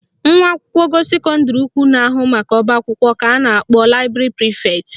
Nwa akwụkwọ ogo sekọndịrị ukwu na-ahụ maka ọbaakwụkwọ ka a na-akpọ library prefect